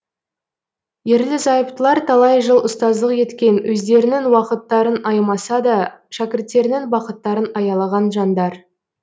ерлі зайыптылар талай жыл ұстаздық еткен өздерінің уақыттарын аямаса да шәкірттерінің бақыттарын аялаған жандар